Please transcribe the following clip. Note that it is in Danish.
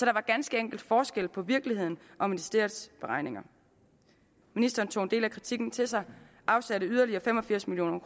ganske enkelt forskel på virkeligheden og ministeriets beregninger ministeren tog en del af kritikken til sig og afsatte yderligere fem og firs million